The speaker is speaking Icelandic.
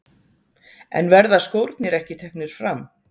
En verða skórnir ekki teknir fram?